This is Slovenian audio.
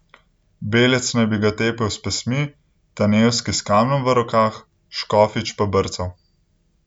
Belec naj bi ga bil tepel s pestmi, Tanevski s kamnom v rokah, Škofič pa brcal.